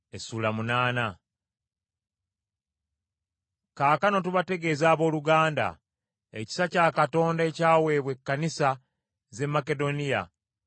Kaakano tubategeeza abooluganda, ekisa kya Katonda ekyaweebwa ekkanisa z’e Makedoniya.